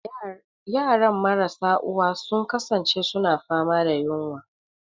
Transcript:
Yaran marasa uwa sun kasance suna fama da yunwa.